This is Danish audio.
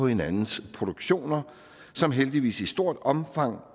hinandens produktioner som heldigvis i stort omfang